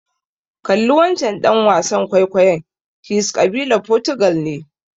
Kalli wancen ɗan wasan kwaikwayon, he's ƙabilar Fotugal ne.